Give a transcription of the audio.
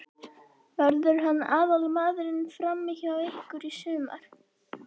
Verður hann aðalmaðurinn frammi hjá ykkur í sumar?